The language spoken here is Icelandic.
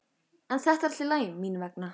En þetta er allt í lagi mín vegna.